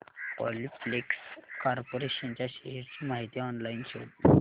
Polyplex corporation च्या shares ची माहिती ऑनलाइन शोध